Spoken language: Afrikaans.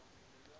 afdelings h i